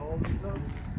Oldu, sağ ol.